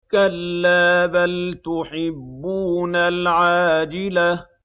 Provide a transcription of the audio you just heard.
كَلَّا بَلْ تُحِبُّونَ الْعَاجِلَةَ